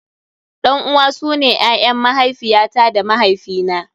Ɗan uwa su ne ƴaƴan mahaifiya ta da mahaifi na.